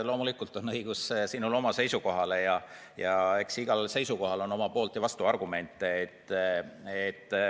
Loomulikult on õigus sinul oma seisukohale, aga eks igaühe seisukohale on poolt- ja vastuargumente.